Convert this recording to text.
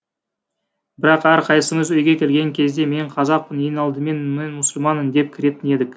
бірақ әр қайсымыз үйге келген кезде мен қазақпын ең алдымен мен мұсылманмын деп кіретін едік